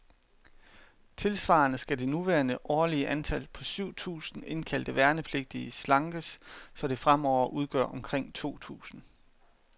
Tilsvarende skal det nuværende årlige antal, på syv tusinde indkaldte værnepligtige, slankes, så det fremover udgør omkring to tusinde.